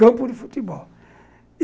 Campo de futebol.